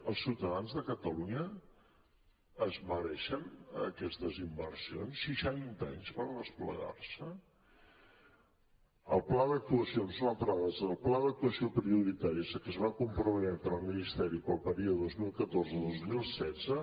els ciutadans de catalunya es mereixen aquestes inversions seixanta anys per desplegar se el pla d’actuacions una altra dada el pla d’actuació prioritària a què es va comprometre el ministeri per al període dos mil catorze dos mil setze